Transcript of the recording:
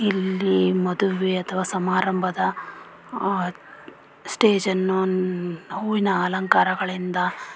ಇಲ್ಲಿ ಮದುವೆ ಅಥವಾ ಸಮಾರಂಭದ ಸ್ಟೇಜನ್ನು ಹೂವಿನ ಅಲಂಕಾರ ಗಳಿಂದ--